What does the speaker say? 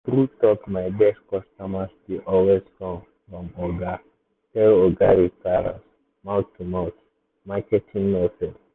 na true talk my best customers dey always come from oga tell oga referrals mouth-to-mouth marketing no fail.